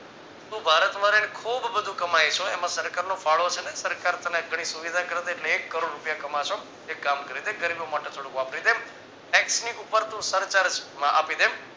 તો ભારત માં ખુબ બધું કમાઈ છો એમાં સરકારનો ફાળો છે ને સરકાર તને ઘણી સુવિધા કરીદે એટલે એક કરોડ રૂપિયા કમાશો એક કામ કરી દે ગરીબો માટે થોડું વાપરી દે tax ઉપર તો સરચાર્જ આપીદે